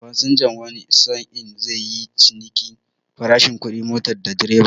Fasinja wani sa'in zai yi cinikin farashi kudin motar da direba.